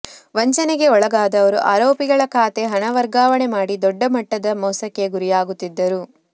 ವಂಚನೆಗೆ ಒಳಗಾದವರು ಆರೋಪಿಗಳ ಖಾತೆ ಹಣ ವರ್ಗಾವಣೆ ಮಾಡಿ ದೊಡ್ಡ ಮಟ್ಟದ ಮೋಸಕ್ಕೆ ಗುರಿಯಾಗುತ್ತಿದ್ದರು